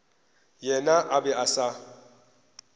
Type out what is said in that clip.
yena a be a sa